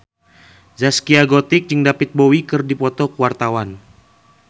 Zaskia Gotik jeung David Bowie keur dipoto ku wartawan